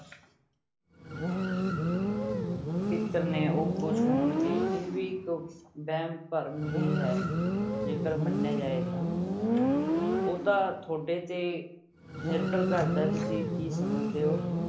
ਪਿੱਤਰ ਨੇ ਉਹ ਖ਼ੁਸ਼ ਹੋਣਗੇ ਇਹ ਵੀ ਇੱਕ ਵਹਿਮ ਭਰਮ ਹੀ ਹੈ, ਜੇਕਰ ਮੰਨਿਆ ਜਾਏ ਤਾਂ ਉਹ ਤਾਂ ਤੁਹਾਡੇ ਤੇ ਨਿਰਭਰ ਕਰਦਾ ਤੁਸੀਂ ਕੀ ਸਮਝਦੇ ਹੋ।